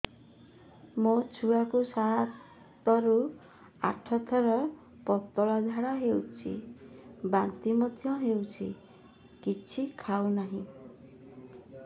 ମୋ ଛୁଆ କୁ ସାତ ରୁ ଆଠ ଥର ପତଳା ଝାଡା ହେଉଛି ବାନ୍ତି ମଧ୍ୟ୍ୟ ହେଉଛି କିଛି ଖାଉ ନାହିଁ